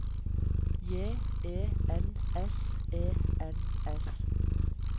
J E N S E N S